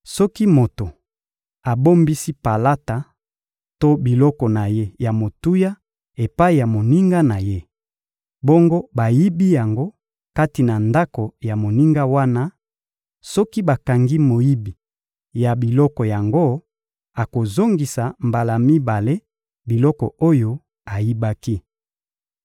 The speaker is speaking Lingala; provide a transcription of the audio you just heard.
Soki moto abombisi palata to biloko na ye ya motuya epai ya moninga na ye, bongo bayibi yango kati na ndako ya moninga wana; soki bakangi moyibi ya biloko yango, akozongisa mbala mibale biloko oyo ayibaki.